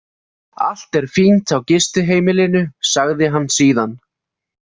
Allt er fínt á gistiheimilinu, sagði hann síðan.